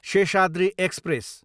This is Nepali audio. शेषाद्री एक्सप्रेस